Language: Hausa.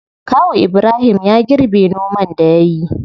Kawu ibrahim ya girbe noman da yayi.